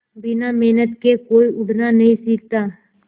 बिना मेहनत के कोई उड़ना नहीं सीखता